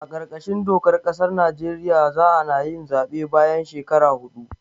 A kar kashin dokar ƙasar Najeriya za anayin zaɓe bayan shekara hudu